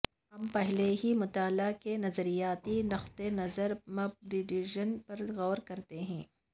ہم پہلے ہی مطالعہ کے نظریاتی نقطہ نظر پر مبنی ڈویژن پر غور کرتے ہیں